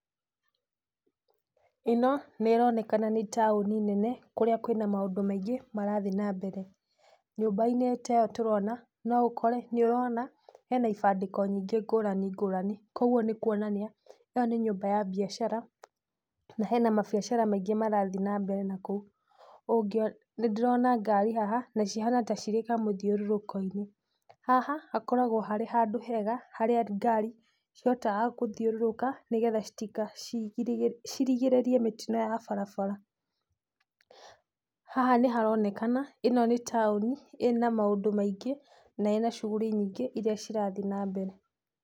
Ĩno nĩronekana nĩ taũni nene kũrĩa kwĩna maũndũ maingĩ marathiĩ nambere. Nyũmba-inĩ ta ĩyo tũrona, no ũkore, nĩũrona hena ibandĩko nyingĩ ngũrani ngũrani, kuoguo nĩkuonania ĩyo nĩ nyũmba ya mbiacara, na hena mambiacara maingĩ marathiĩ nambere nakũu. Ũngĩona nĩndĩrona ngari haha na cihana ta cirĩ kamũthiũrũrũko-inĩ. Haha hakoragwo harĩ handũ hega, harĩa ngari cihotaga gũthiũrũrũka nĩgetha citika cirigĩrĩrie mĩtino ya barabara. Haha nĩharonekana, ĩno nĩ taũni ĩna maũndũ maingĩ, na ĩna shughuli nyingĩ, iria cirathiĩ nambere.